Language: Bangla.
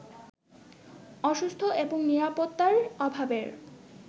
অসুস্থ এবং নিরাপত্তার অভাবের